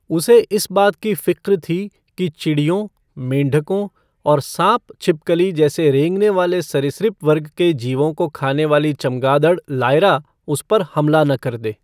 उसे इस बात की फ़िक्र थी कि चिड़ियों, मेंढकों और साँप छिपकली जैसे रेंगने वाले सरीसृप वर्ग के जीवों को खाने वाली चमगादड़, लायरा उस पर हमला न कर दे।